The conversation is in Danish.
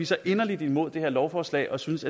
så inderligt imod det her lovforslag og synes